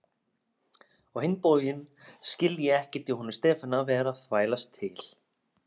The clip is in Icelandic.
Á hinn bóginn skil ég ekkert í honum Stefáni að vera að þvælast til